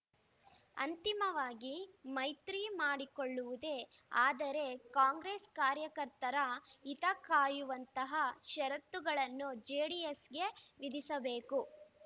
ಅಂತಿಮವಾಗಿ ಮೈತ್ರಿ ಮಾಡಿಕೊಳ್ಳುವುದೇ ಆದರೆ ಕಾಂಗ್ರೆಸ್‌ ಕಾರ್ಯಕರ್ತರ ಹಿತ ಕಾಯುವಂತಹ ಷರತ್ತುಗಳನ್ನು ಜೆಡಿಎಸ್‌ಗೆ ವಿಧಿಸಬೇಕು